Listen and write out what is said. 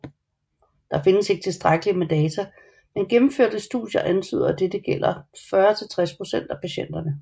Der findes ikke tilstrækkeligt med data men gennemførte studier antyder at dette gælder 40 til 60 procent af patienterne